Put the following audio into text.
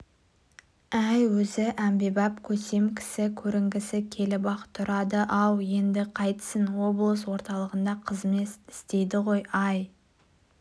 әй өзі әмбебап көсем кісі көрінгісі келіп-ақ тұрады-ау енді қайтсін облыс орталығында қызмет істейді ғой ай